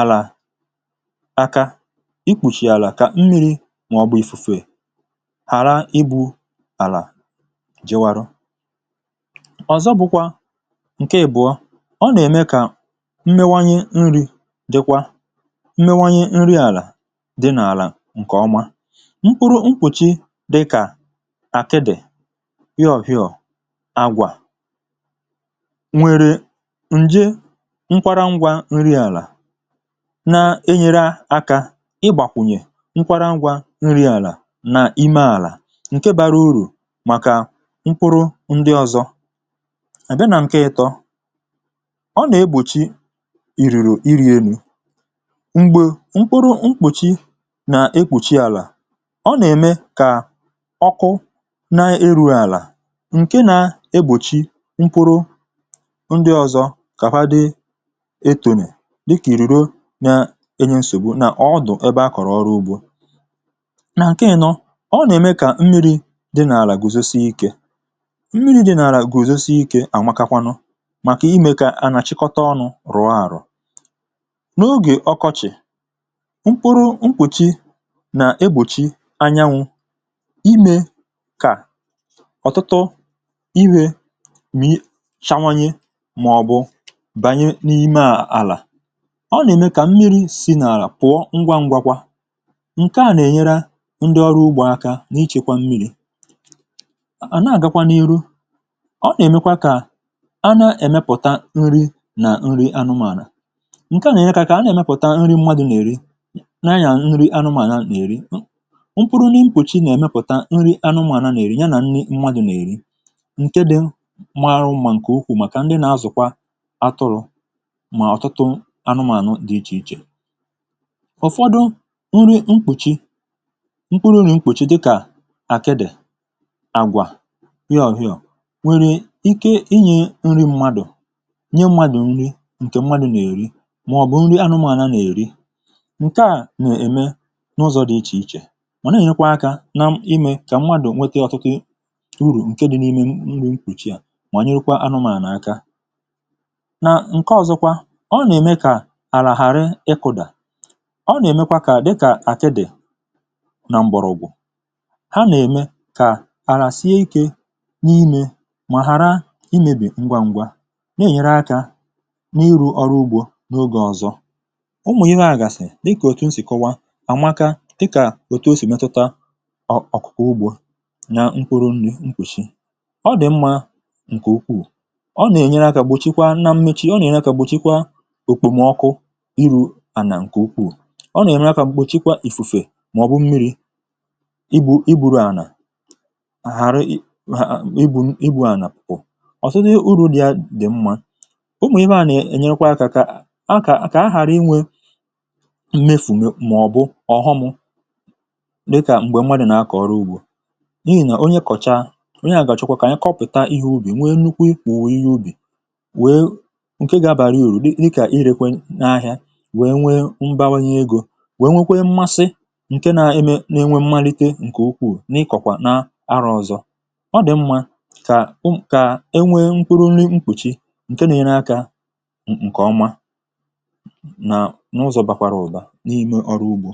àlà aka ikpùchi àlà kà mmi̇ri̇ mà ọ̀ gbaa ifu̇fu̇ è ghàra ibu̇ àlà jịwarụ ọ̀zọ bụ̇kwà ǹke èbụ̀ọ ọ nà-ème kà mmewanye nri̇ dịkwa mmewanye nri àlà dịnà àlà ǹkè ọma mkpụrụ mkpùchi dịkà àkịdị̀ yọ̀pịọ̀ nwere nje nkwara ngwa nri àlà na-enyere akȧ ịgbàkwùnyè nkwara ngwa nri àlà nà ime àlà ǹke bara urù màkà mkpụrụ ndị ọzọ àbịa nà ǹke ịtọ̇ ọ nà-egbòchi ìrìrì iri̇ elu̇ m̀gbè mkpụrụ mkpùchi nà ekwòchi àlà ọ nà-ème kà ọkụ na erù àlà um ǹke na-egbòchi ndị ọ̀zọ kàfadị etònè dịkà ìrìro nyȧ ȧ nye ǹsògbu nà ọ dụ̀ ebe a kọ̀rọ̀ ọrụ ugbȯ nà ǹke ȧnọ̇ ọ nà-ème kà mmiri̇ dịnà àlà gùzosị ikė mmiri̇ dịnà àlà gùzosị ikė ànwakakwanụ màkà imė kà ànàchịkọta ọnụ̇ rụ̀ọ àrụ̀ n’ogè ọkọchị̀ mkpụrụ mkpùchi nà egbòchi anyanwụ̇ imė kà ọ̀tụtụ ihe bànye n’ime àlà ọ nà-ème kà mmiri̇ si̇ n’àlà pụ̀ọ ngwa ngwȧkwȧ ǹke à nà-ènyere ndị ọrụ ugbȯ aka n’ịchekwa mmiri̇ nà-àgakwa n’ihu ọ nà-èmekwa kà a nà-èmepùta nri nà nri anụmànà ǹke à nà-ènyekà kà a nà-èmepùta nri mmadụ̀ nà-èri na-ayà nri anụmànà nà-èri mpụrụ̇ nà ịmpụ̀chị nà-èmepùta nri anụmànà nà-èri ya nà nri mmadụ̀ nà-èri mà ọ̀tụtụ anụmànụ dị̇ ichè ichè ụ̀fọdụ nri mkpùchi mkpụrụ nà mkpùchi dịkà àkịdị̀ àgwà yohiò nwèrè ike inyė nri mmadụ̀ nye mmadụ̀ nri ǹkè mmadụ̀ nà-èri màọ̀bụ̀ nri anụmànụ nà-èri ǹke à nà-ème n’ụzọ̇ dị̀ ichè ichè mà na-enyekwa akȧ na m imė kà mmadụ̀ nwete ọ̀tụtụ uru ǹke dị n’ime mbụ̇ nkwùchi à nà ǹke ọ̀zọ kwa ọ nà-ème kà àlà ghàrị ịkụ̇dà ọ nà-èmekwa kà dịkà àkịdị nà m̀bọ̀rọ̀ụ̀gwụ̀ ha nà-ème kà àlà sie ikė n’imė mà hara imėbì ngwa ngwa na-ènyere akȧ n’iru ọrụ ugbȯ n’oge ọ̀zọ um ụmụ̀ ihe àgàsì dịkà ọ̀tụtụ nsì kọwa ànwaka dịkà òtù o sì metuta ọ̀ ọ̀kụ̀kụ̀ ugbȯ na mkpụrụ nni̇ nkwùshi ọ dị̀ mmȧ ǹkè ukwuù ǹke à bụ̀ chikwaa òtù mà ọ̀kụ̀ iru̇ ànà ǹkè ukwuù ọ nà ème akȧ m̀kpòchikwa ìfùfè mà ọ̀ bụ̀ m̀miri̇ ibu̇ ibu̇ru̇ ànà ghàra ibu̇ ànà pụ̀ ọ̀tụtụ uru̇ dị̀ mmȧ umùihe à nà-ènyekwa akȧ kà ahà kà ahà ghàra inwė mmefù mà ọ̀ bụ ọ̀hụmụ̇ dịkà m̀gbè mwadì nà akọ̀ ọrụ ugbȯ n’ihì nà onye kọ̀chaa onye à gàchụkwa kà anyị kọpị̀ta ihe ubì nwe nukwu ikwù wèe ǹke gȧbàrà urù dịkà irėkwė n’ahịa wèe nwee mbawanye egȯ wèe nwekwekwe mmasị ǹke na-enwe n’enwe mmalite ǹkè ukwuù n’ịkọ̀kwà na arọ ọzọ ọ dị̀ mmȧ kà ụmụ̀ kà e nwee mkpụrụ nri mkpùchi ǹke na-ere akȧ ǹkè ọma nà n’ụzọ̀ bàkwàrà ụ̀ba n’ime ọrụ ugbȯ